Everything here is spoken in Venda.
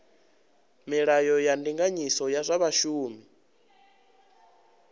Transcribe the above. milayo ya ndinganyiso ya zwa vhashumi